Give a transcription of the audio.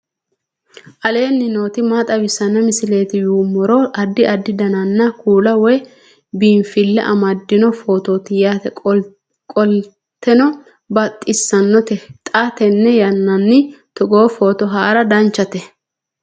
aleenni nooti maa xawisanno misileeti yinummoro addi addi dananna kuula woy biinfille amaddino footooti yaate qoltenno baxissannote xa tenne yannanni togoo footo haara danchate